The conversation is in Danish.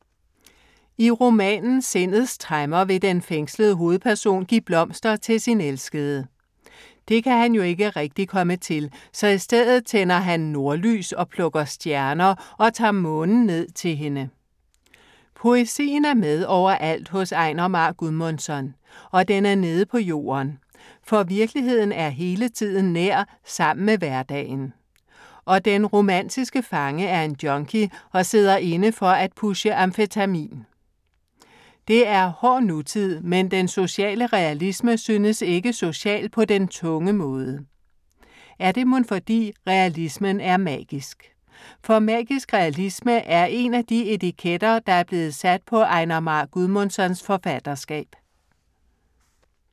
I romanen Sindets tremmer vil den fængslede hovedperson give blomster til sin elskede. Det kan han jo ikke rigtig komme til, så i stedet tænder han nordlys og plukker stjerner og tager månen ned til hende. Poesien er med over alt hos Einar Már Guðmundsson. Og den er nede på jorden. For virkeligheden er hele tiden nær sammen med hverdagen. Og den romantiske fange er en junkie og sidder inde for at pushe amfetamin. Det er hård nutid, men den sociale realisme synes ikke social på den tunge måde. Er det mon fordi realismen er magisk? For magisk realisme er én af de etiketter, der er blevet sat på Einar Már Guðmundssons forfatterskab.